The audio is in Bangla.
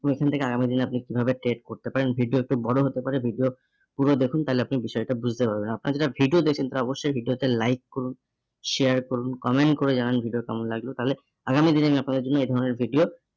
এবং এখান থেকে আগামী দিনে আপনি কিভাবে trade করতে পারেন ভিডিও তে বড় হতে পারে, video পুরো দেখুন তাহলে আপনি বিষয়টা বুঝতে পারবেন। আপনারা যারা video দেখছেন তারা অবশ্যই ভিডিওতে like করুন, share করুন comment করে জানান ভিডিও কেমন লাগলো তাহলে আগামী দিনে আমি আপনাদের জন্য এই ধরনের video